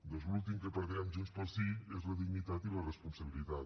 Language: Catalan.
doncs l’últim que perdrem junts pel sí és la dignitat i la responsabilitat